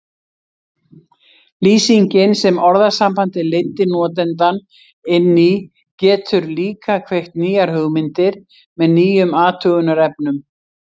Lýsingin sem orðasambandið leiddi notandann inn í getur líka kveikt nýjar hugmyndir með nýjum athugunarefnum.